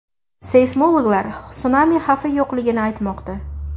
Seysmologlar sunami xavfi yo‘qligini aytmoqda.